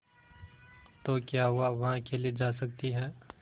तो क्या हुआवह अकेले जा सकती है